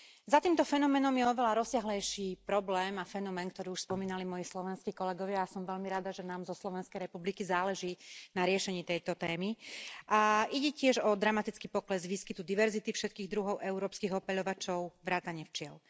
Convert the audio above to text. Za týmto fenoménom je oveľa rozsiahlejší problém a fenomén, ktoré už spomenuli moji slovenskí kolegovia, a som veľmi rada, že nám zo Slovenskej republiky záleží na riešení tejto témy, a ide tiež o dramatický pokles výskytu diverzity všetkých druhov európskych opeľovačov vrátane včiel.